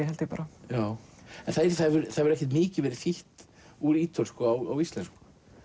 held ég bara það hefur ekkert mikið verið þýtt úr ítölsku á íslensku